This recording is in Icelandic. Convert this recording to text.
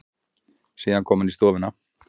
Síðan kom hann í stofuna.